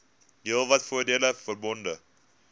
heelwat voordele verbonde